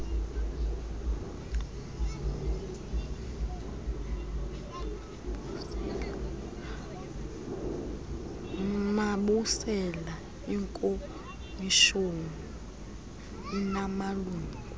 mabusela ikomishoni inamalungu